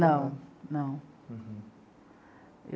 Não, não. Uhum.